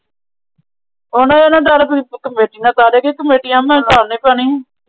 ਕਮੇਟੀਆਂ ਓੰਦੇ ਭਰਾ ਨਾ ਪਾਉਣੀ ਏ।